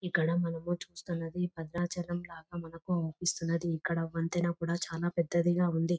ఇక్కడ మనము చూస్తున్నది భద్రాచలం లాగా మనకు అనిపిస్తున్నది ఇక్కడ వంతెన కూడా చానా పెద్దది గ ఉంది.